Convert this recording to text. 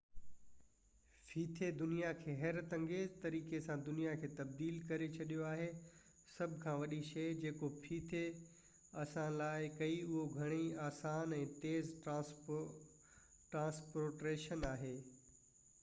ڦيٿي دنيا کي حيرت انگيز طريقي سان دنيا کي تبديل ڪري ڇڏيو آهي سڀ کان وڏي شئي جيڪو ڦيٿي اسان لاءِ ڪئي اهو گهڻي آسان ۽ تيز ٽرانسپورٽيشن آهي